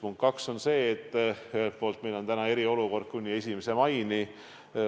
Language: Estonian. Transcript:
Punkt kaks on see, et meil on eriolukord esialgu kuni 1. maini.